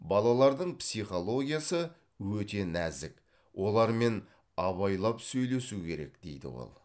балалардың психологиясы өте нәзік олармен абайлап сөйлесу керек дейді ол